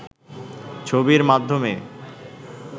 ছবির মাধ্যমে